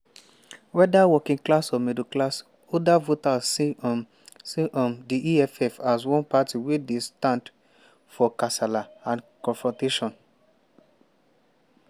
"weda working class or middle class older voters see um see um di eff as one party wey dey stand for kasala and confrontation.